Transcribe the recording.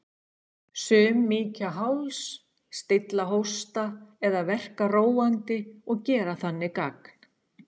Sum mýkja háls, stilla hósta eða verka róandi og gera þannig gagn.